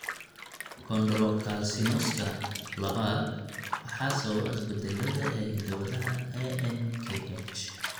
Chondrocalcinosika labad waxaa sababa isbeddellada (isbeddellada) ee hidda-wadaha ANKH.